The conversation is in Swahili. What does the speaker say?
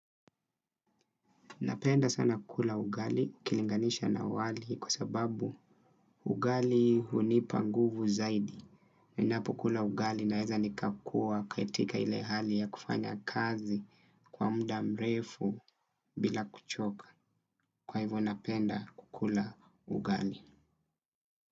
Napenda sana kukula ugali ikilinganisha na wali kwa sababu ugali hunipa nguvu zaidi. Ninapo kula ugali naweza nikakuwa katika ile hali ya kufanya kazi kwa muda mrefu bila kuchoka. Kwa hivyo napenda kukula ugali.